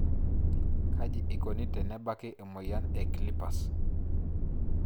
Kaji eikoni tenebaki emoyian e CLIPPERS?